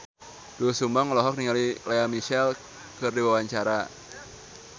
Doel Sumbang olohok ningali Lea Michele keur diwawancara